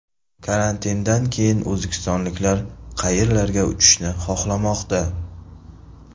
Karantindan keyin o‘zbekistonliklar qayerlarga uchishni xohlamoqda?